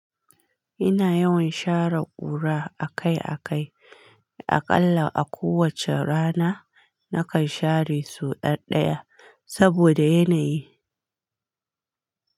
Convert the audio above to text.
Ina yawan share ƙura akai-akai. Aƙalla a kowace rana nakan share sau ɗaya-ɗaya saboda yanayi.